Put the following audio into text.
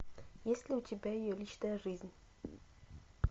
есть ли у тебя ее личная жизнь